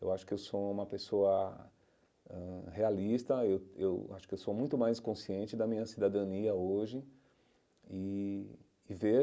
Eu acho que eu sou uma pessoa ãh realista, eu eu acho que eu sou muito mais consciente da minha cidadania hoje e e ver...